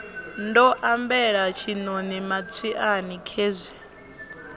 ndo ambela tshiṋoni matswiani khezwi